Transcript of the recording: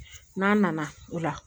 N'a nana o la